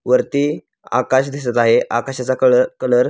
वरती आकाश दिसत आहे आकाशाचा कलर --